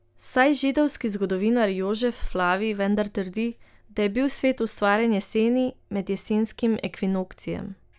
Saj židovski zgodovinar Jožef Flavij vendar trdi, da je bil svet ustvarjen jeseni, med jesenskim ekvinokcijem.